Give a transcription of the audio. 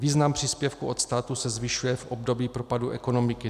Význam příspěvku od státu se zvyšuje v období propadu ekonomiky.